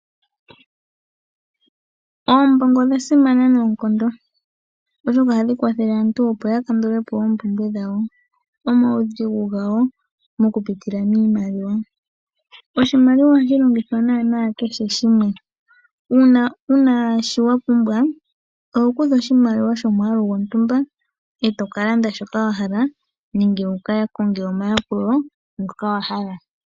Oombongo odha simana noonkondo, oshoka ohadhi kwathele aantu opo ya kandule po oompumbwe dhawo, omaudhigu gawo mokupitila miimaliwa. Oshimaliwa ohashi longithwa naanaa kehe shimwe. Uuna wu na shi wa pumbwa oho kutha oshimaliwa shomwaalu gontumba e to ka landa shoka wa hala nenge wu ka konge omayakulo ngoka wa hala.